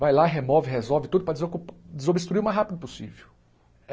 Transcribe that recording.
Vai lá, remove, resolve tudo para desocu desobstruir o mais rápido possível.